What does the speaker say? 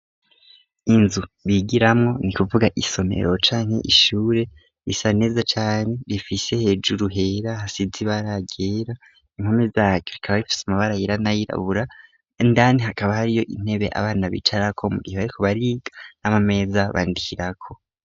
Inzu bigiramo ni kuvuga isomero canke ishure risa neza cane rifise hejuru hera hasize bara ryera impome zaryo rikaba rifise amabara yiranayirabura ndani hakaba hariyo intebe abana bicarako mugihe bariko bariga n'ama meza bandikirako.